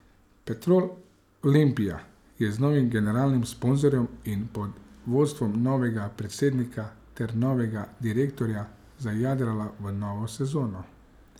Petrol Olimpija je z novim generalnim sponzorjem in pod vodstvom novega predsednika ter novega direktorja zajadrala v novo sezono.